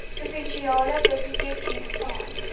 provinsiale biblioteekdiens staan